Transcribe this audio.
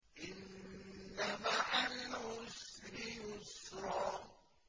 إِنَّ مَعَ الْعُسْرِ يُسْرًا